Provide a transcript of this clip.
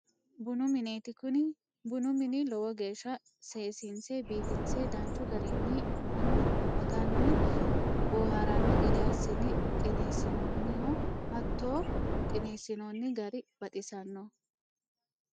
Bunu mineeti, kuni bunu mini lowo geesha seesi'nse biifinse danchu garini manu agani booharano gede assine qineesinonniho hatto qineesinonni gari baxisanoho